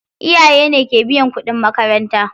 Iyaye ne ke biyan kuɗin makaranta.